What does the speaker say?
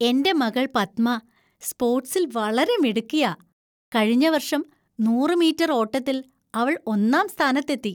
എന്‍റെ മകൾ പത്മ സ്പോർട്സിൽ വളരെ മിടുക്കിയാ. കഴിഞ്ഞ വർഷം നൂറ് മീറ്റർ ഓട്ടത്തിൽ അവൾ ഒന്നാം സ്ഥാനത്തെത്തി.